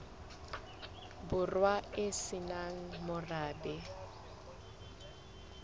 borwa e se nang morabe